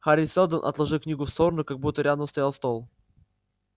хари сэлдон отложил книгу в сторону как будто рядом стоял стол